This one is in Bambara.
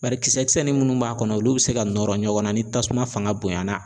Bari kisɛ kisɛnin minnu b'a kɔnɔ olu bɛ se ka nɔrɔ ɲɔgɔn na ni tasuma fanga bonyana